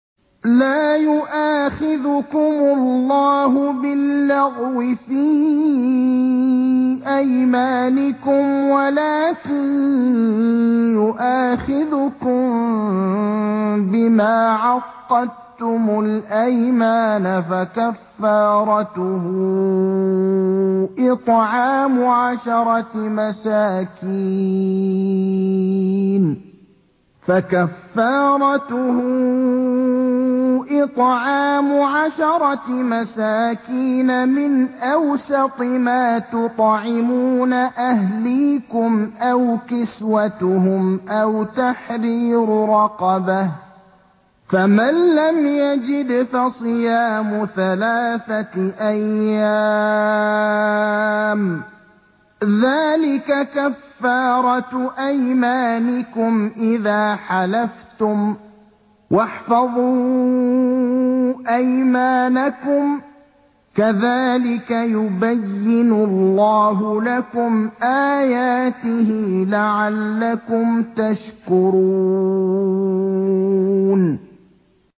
لَا يُؤَاخِذُكُمُ اللَّهُ بِاللَّغْوِ فِي أَيْمَانِكُمْ وَلَٰكِن يُؤَاخِذُكُم بِمَا عَقَّدتُّمُ الْأَيْمَانَ ۖ فَكَفَّارَتُهُ إِطْعَامُ عَشَرَةِ مَسَاكِينَ مِنْ أَوْسَطِ مَا تُطْعِمُونَ أَهْلِيكُمْ أَوْ كِسْوَتُهُمْ أَوْ تَحْرِيرُ رَقَبَةٍ ۖ فَمَن لَّمْ يَجِدْ فَصِيَامُ ثَلَاثَةِ أَيَّامٍ ۚ ذَٰلِكَ كَفَّارَةُ أَيْمَانِكُمْ إِذَا حَلَفْتُمْ ۚ وَاحْفَظُوا أَيْمَانَكُمْ ۚ كَذَٰلِكَ يُبَيِّنُ اللَّهُ لَكُمْ آيَاتِهِ لَعَلَّكُمْ تَشْكُرُونَ